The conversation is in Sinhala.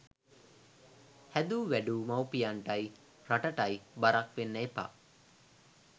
හැදු වැඩු මවිපියන්ටයි රටටයි බරක් වෙන්න එපා.